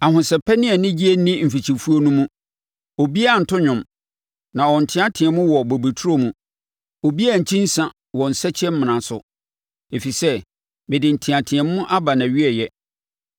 Ahosɛpɛ ne anigyeɛ nni mfikyifuo no mu; obiara nnto dwom, na ɔnteateam wɔ bobeturo mu; obiara nnkyi nsã wɔ nsakyimena so, ɛfiri sɛ mede nteateam aba nʼawieeɛ.